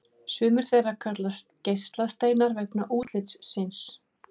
Sumir þeirra kallast geislasteinar vegna útlits síns.